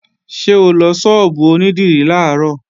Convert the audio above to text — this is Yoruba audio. Ṣé o lọ ṣọ́ọ̀bù onídìrí làárọ̀?